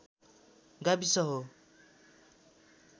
गाविस हो